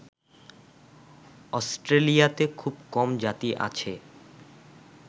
অস্ট্রেলিয়াতে খুব কম জাতি আছে